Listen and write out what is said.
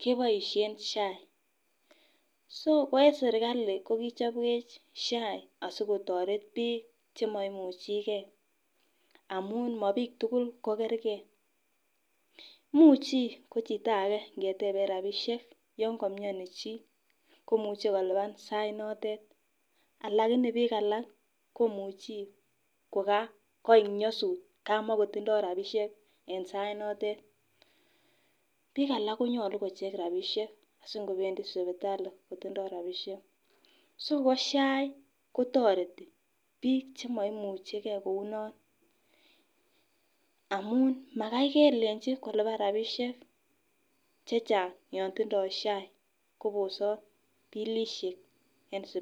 keboishen SHA . So ko en serkali ko kichobwech SHA asikotoret bik chemoimuchigee amun mo bik tukuk ko kerkei, imuchi ko chitake rabishek yon kimeoni chii komuche kilipan sait notet lakini bik alak komuchi koka koik nyosut komokotindo rabishek en sait notet. Bik alak konyolu kocheng rabishek asinkopendii sipitali kotindo rabishek, so ko SHA kotoreti bik chemoimuchigee kouno amun Makai kelenji kilipan rabishek chechang yon tindo SHA kobosot bilishek en sipitali.